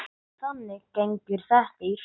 Þannig gengur þetta í hring.